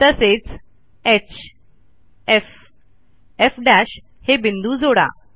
तसेच hfएफ हे बिंदू जोडा